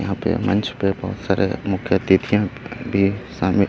यहाँ पे मंच पे बहोत सारे मुख्य अथितियां भी शामिल--